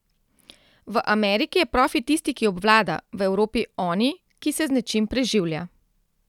V Ameriki je profi tisti, ki obvlada, v Evropi oni, ki se z nečim preživlja.